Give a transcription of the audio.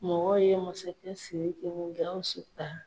Mɔgɔw ye masakɛ Siriki ni Gawusu ta.